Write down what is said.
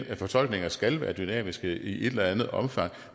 at fortolkninger skal være dynamiske i et eller andet omfang